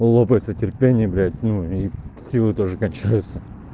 лопается терпение блять ну и силы тоже кончаются